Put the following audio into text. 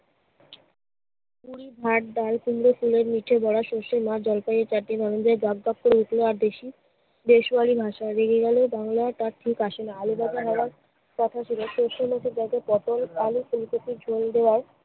ভাত, ডাল, কুমড়ো ফুলের নিচে বড়া, সরষে মাছ, জলপাইয়ে চাটনি, টগবগ করে উঠলো আর দেশি~ দেশ্বরী ভাষায় রেগে গেলে বাংলা তার ঠিক আসে না। আলু ভাজা হওয়ার কথা ছিল। সরষের মধ্যে কয়েকটা পটল, আলু, ফুলকপির ঝোল দেওয়ার